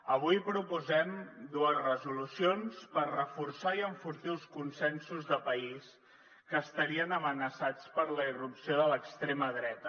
avui proposem dues resolucions per reforçar i enfortir els consensos de país que estarien amenaçats per la irrupció de l’extrema dreta